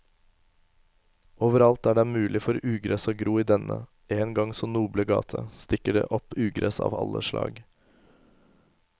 Overalt der det er mulig for ugress å gro i denne en gang så noble gate, stikker det opp ugress av alle slag.